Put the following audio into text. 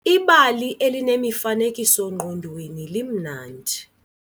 Ibali elinemifanekiso-ngqondweni limnandi.